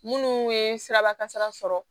Munnu ye sirabakasara sɔrɔ